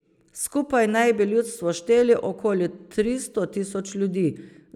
Skupaj naj bi ljudstvo štelo okoli tristo tisoč ljudi.